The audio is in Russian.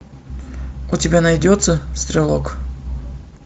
у тебя найдется стрелок